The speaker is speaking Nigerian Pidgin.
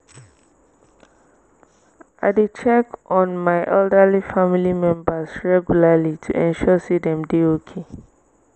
i dey check on my elderly family members regularly to ensure sey dem dey okay.